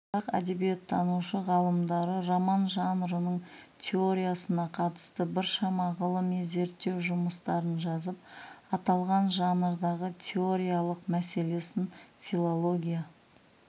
қазақ әдебиеттанушы ғалымдары роман жанрының теориясына қатысты біршама ғылыми зерттеу жұмыстарын жазып аталған жанрдың теориялық мәселесін филология